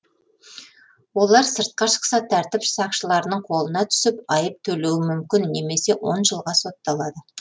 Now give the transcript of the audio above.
олар сыртқа шықса тәртіп сақшыларының қолына түсіп айып төлеуі мүмкін немесе он жылға сотталады